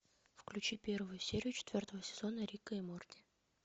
включи первую серию четвертого сезона рика и морти